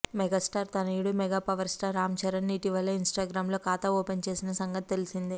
megastar తనయుడు mega power star Ram Charan ఇటీవలే ఇన్స్టాగ్రామ్లో ఖాతా ఓపెన్ చేసిన సంగతి తెలిసిందే